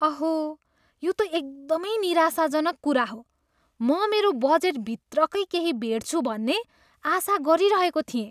अहो, यो त एकदमै निराशाजनक कुरा हो। म मेरो बजेटभित्रकै केही भेट्छु भन्ने आशा गरिरहेको थिएँ।